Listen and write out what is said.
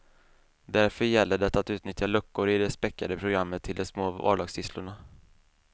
Därför gäller det att utnyttja luckor i det späckade programmet till de små vardagssysslorna.